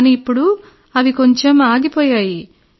కానీ ఇప్పుడు అవి కొంచెం ఆగిపోయాయి